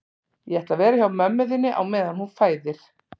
Ég ætla að vera hjá mömmu þinni á meðan hún fæðir